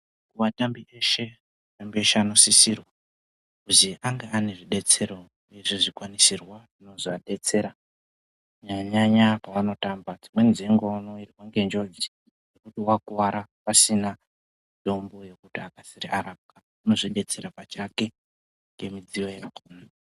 Vatambi veshe vanosisirwe kuti vange nezvibetsero nezvikwanisirwa zvinozovadetsera kunyanya nyanya vachitamba. Dzimweni dzenguva vanowirwa ngenjodzi yekukuwara pasina mitombo yekuti arapwe anozvibetsera ega ngemidziyo yake.